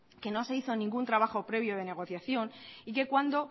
que no se hizo ningún trabajo previo de negociación y que cuando